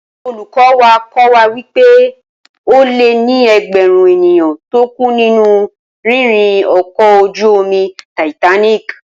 Olùkọ́ wa kọ́ wa wí pé ó lé ní ẹgbẹ̀rún ènìyàn tó kú nínú rírìn ọkọ̀ ojú-omi Titanic